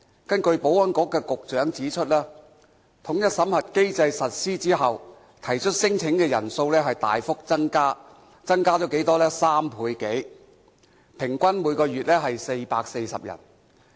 根據保安局局長指出，統一審核機制實施後，提出聲請的人數大幅增加，增加了3倍多，每月平均有440人。